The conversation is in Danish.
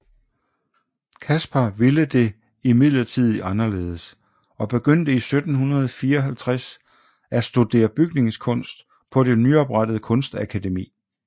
Caspar ville det imidlertid anderledes og begyndte i 1754 at studere bygningskunst på det nyoprettede Kunstakademi